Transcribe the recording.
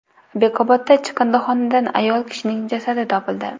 Bekobodda chiqindixonadan ayol kishining jasadi topildi.